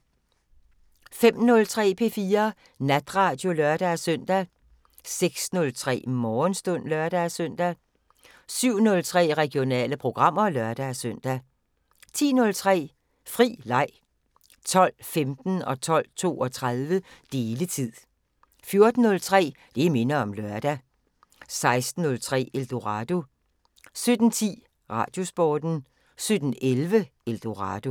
05:03: P4 Natradio (lør-søn) 06:03: Morgenstund (lør-søn) 07:03: Regionale programmer (lør-søn) 10:03: Fri leg 12:15: Deletid 12:32: Deletid 14:03: Det minder om lørdag 16:03: Eldorado 17:10: Radiosporten 17:11: Eldorado